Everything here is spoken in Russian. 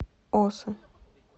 осы